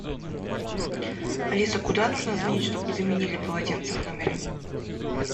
алиса куда нужно звонить что бы заменили полотенце в номере